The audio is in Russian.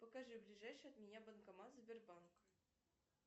покажи ближайший от меня банкомат сбербанка